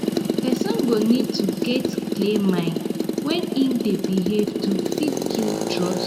person go need to get clear mind when im dey behave to fit build trust